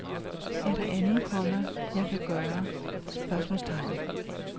Er der andet, komma jeg kan gøre? spørgsmålstegn